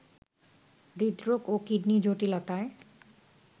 হৃদরোগ ও কিডনি জটিলতায়